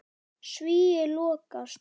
Svíi lokast.